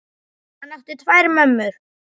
Hann átti tvær mömmur.